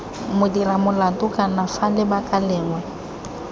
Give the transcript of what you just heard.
modiramolato kana f lebaka lengwe